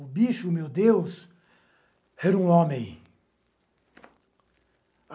O bicho, meu Deus, era um homem.